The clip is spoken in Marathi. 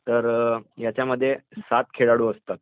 तर ह्यांच्यामध्ये सात खेळाडू असतात.